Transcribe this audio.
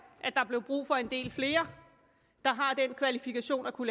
at der blev brug for en del flere der har den kvalifikation at kunne